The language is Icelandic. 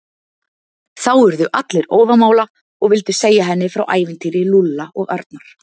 Þá urðu allir óðamála og vildu segja henni frá ævintýri Lúlla og Arnar.